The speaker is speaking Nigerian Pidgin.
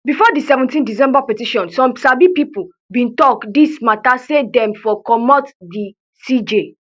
bifor di seventeen december petition some sabi pipo bin tok dis mata say dem for comot di cj